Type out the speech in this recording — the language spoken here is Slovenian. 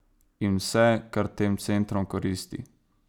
In vse, kar tem centrom koristi.